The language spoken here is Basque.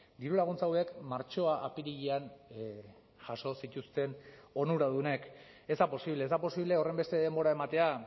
dirulaguntza hauek martxoa apirilean jaso zituzten onuradunek ez da posible ez da posible horrenbeste denbora ematea